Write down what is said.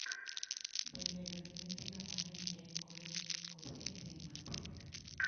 Be bedo gi nyithindo mang'eny en gweth, koso en ting' mapek?